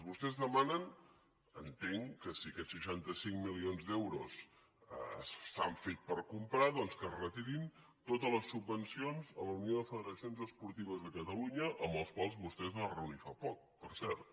vostès demanen entenc si aquests seixanta cinc milions d’euros s’han fet per comprar doncs que es retirin totes les subvencions a la unió de federacions esportives de catalunya amb les quals vostè es va reunir fa poc per cert